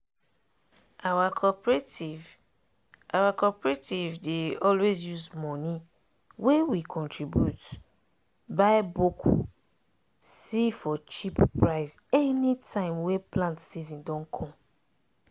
our cooperative our cooperative dey always use money wey we contribute buy boku see for cheap price anytime wey plant season don come.